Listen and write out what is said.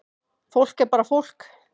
Fólk er bara fólk